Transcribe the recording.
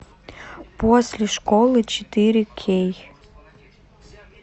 после школы четыре кей